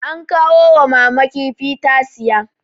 an kawo wa mama kifi ta siya